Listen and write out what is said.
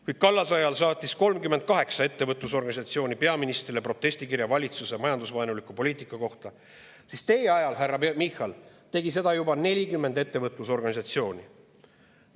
Kui Kallase ajal saatis 38 ettevõtlusorganisatsiooni peaministrile protestikirja valitsuse majandusvaenuliku poliitika kohta, siis teie ajal, härra Michal, tegi seda juba 40 ettevõtlusorganisatsiooni.